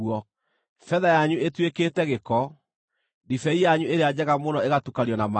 Betha yanyu ĩtuĩkĩte gĩko, ndibei yanyu ĩrĩa njega mũno ĩgatukanio na maaĩ.